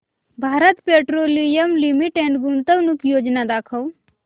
Bharat petroleum limited गुंतवणूक योजना दाखव